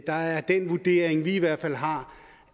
der er den vurdering vi i hvert fald har